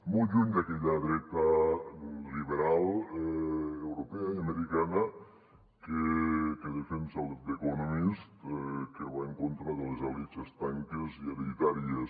molt lluny d’aquella dreta liberal europea i americana que defensa the economist que va en contra de les elits estanques i hereditàries